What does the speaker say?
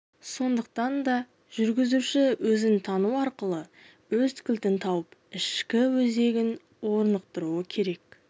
сондықтан да жүргізуші өзін тану арқылы өз кілтін тауып ішкі өзегін орнықтыруы керек